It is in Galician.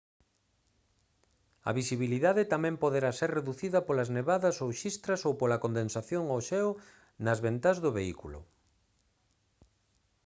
a visibilidade tamén poderá ser reducida polas nevadas ou xistras ou pola condensación ou xeo nas ventás do vehículo